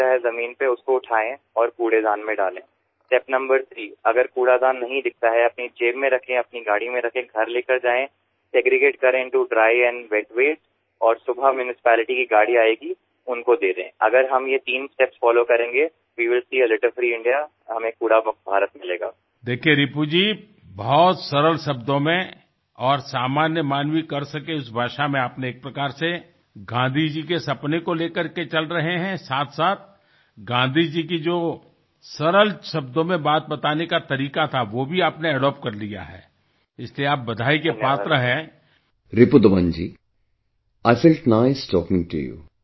Ripudaman ji, I felt nice talking to you